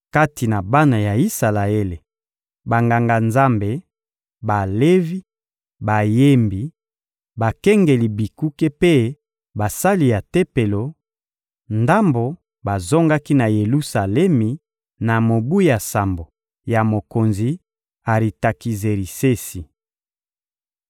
Kati na bana ya Isalaele, Banganga-Nzambe, Balevi, bayembi, bakengeli bikuke mpe basali ya Tempelo, ndambo bazongaki na Yelusalemi na mobu ya sambo ya mokonzi Aritakizerisesi.